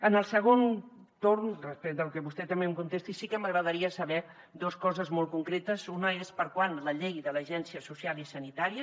en el segon torn després de lo que vostè també em contesti sí que m’agradaria saber dos coses molt concretes una és per a quan la llei de l’agència social i sanitària